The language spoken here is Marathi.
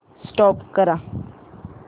स्टॉप करा